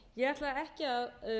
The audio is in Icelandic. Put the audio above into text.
ég ætla ekki að